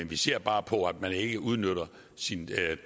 vi ser bare på at man ikke udnytter sin